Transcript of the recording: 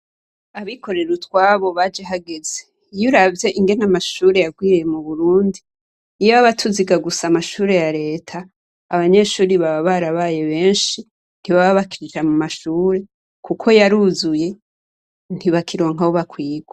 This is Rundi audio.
Abikorera utwabo baje hageze. Iyo uravye ingene amashure yagwiriye mu Burundi, iyo aba tuziga gusa amashure ya Leta, abanyeshure baba barabaye benshi, ntibababa bakiza mu mashure kuko yaruzuye, ntibakironka aho bakwirwa.